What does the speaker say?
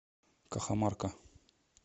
кахамарка